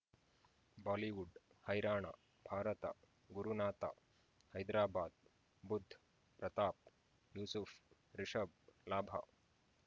Bollywood ಹೈರಾಣ ಭಾರತ ಗುರುನಾಥ ಹೈದರಾಬಾದ್ ಬುಧ್ ಪ್ರತಾಪ್ ಯೂಸುಫ್ ರಿಷಬ್ ಲಾಭ